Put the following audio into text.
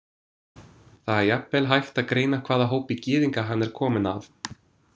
Það er jafnvel hægt að greina hvaða hópi gyðinga hann er kominn af.